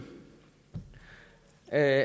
af